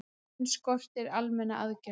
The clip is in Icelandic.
Enn skortir almennar aðgerðir